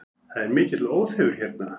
Það er mikill óþefur hérna